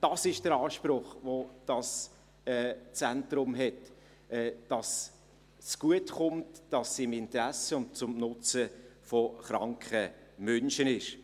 Dies ist der Anspruch, welcher dieses Zentrum hat, dass es gut kommt, dass es im Interesse und zum Nutzen von kranken Menschen ist.